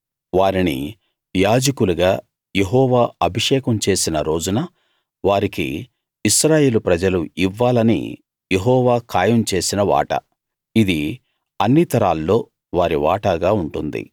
వారిని యాజకులుగా యెహోవా అభిషేకం చేసిన రోజున వారికి ఇశ్రాయేలు ప్రజలు ఇవ్వాలని యెహోవా ఖాయం చేసిన వాటా ఇది అన్ని తరాల్లో వారి వాటాగా ఉంటుంది